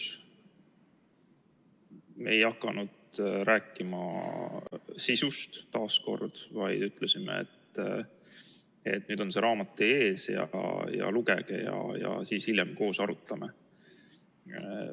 Me taas kord ei hakanud rääkima sisust, vaid ütlesime, et nüüd on see raamat teie ees, lugege ja siis hiljem koos arutame.